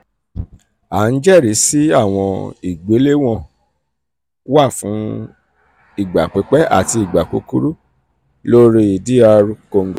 a n jẹrisi awọn igbelewọn 'b-/b' wa fun igba pipẹ ati igba kukuru um lori dr congo.